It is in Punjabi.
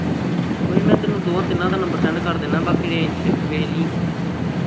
ਉਹੀ ਮੈਂ ਤੈਨੂੰ ਦੋ ਤਿੰਨਾਂ ਦਾ number send ਕਰ ਦਿੰਦਾ ਬਾਕੀ range ਵਿਚ ਵੇਖ ਲਈ